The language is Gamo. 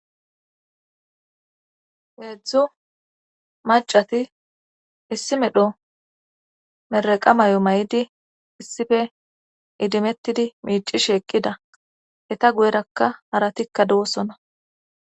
heedzdzu macati issi medho meraqa may7o may7idi issife idimettidi miici shi eqqida eta guyerakka haratikka dosona